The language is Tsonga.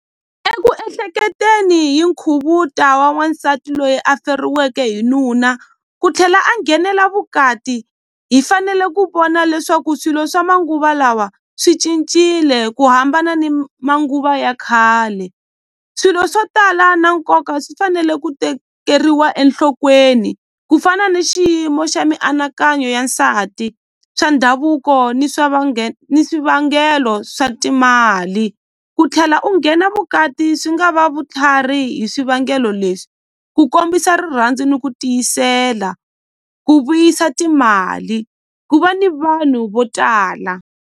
Eku ehleketeni hi nkhuvuta wa n'wansati loyi a feriweke hi nuna ku tlhela a nghenela vukati hi fanele ku vona leswaku swilo swa manguva lawa swi cincile ku hambana ni manguva ya khale swilo swo tala na nkoka swi fanele ku tekeriwa enhlokweni ku fana ni xiyimo xa mianakanyo ya nsati swa ndhavuko ni swa ni swivangelo swa timali ku tlhela u nghena vukati swi nga va vutlhari hi swivangelo leswi ku kombisa rirhandzu ni ku tiyisela ku vuyisa timali ku va ni vanhu vo tala.